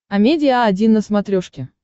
амедиа один на смотрешке